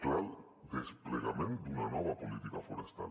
cal desplegament d’una nova política forestal